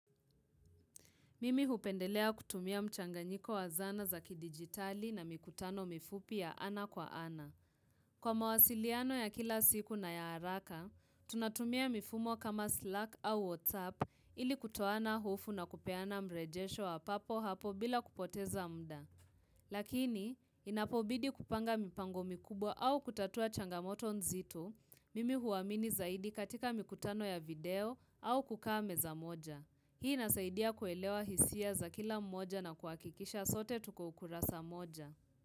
Mimi hupendelea kutumia mchanganyiko wa zana za kidigitali na mikutano mifupi ya ana kwa ana. Kwa mawasiliano ya kila siku na ya haraka, tunatumia mifumo kama Slack au WhatsApp ili kutoana hofu na kupeana mrejesho wa papo hapo bila kupoteza muda. Lakini, inapobidi kupanga mipango mikubwa au kutatua changamoto nzito, mimi huamini zaidi katika mikutano ya video au kukaa meza moja. Hii inasaidia kuelewa hisia za kila mmoja na kuhakikisha sote tuko ukurasa mmoja.